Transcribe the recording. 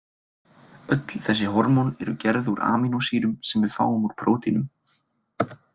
Öll þessi hormón eru gerð úr amínósýrum sem við fáum úr prótínum.